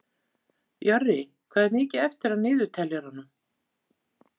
Jörri, hvað er mikið eftir af niðurteljaranum?